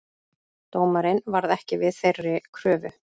Dómarinn varð ekki við þeirri kröfu